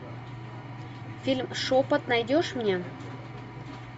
фильм шепот найдешь мне